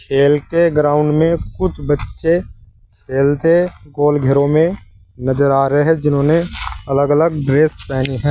खेल के ग्राउंड में कुछ बच्चे खेलते पोल घेरों में नजर आ रही है जिन्होंने अलग अलग ड्रेस पहनी है।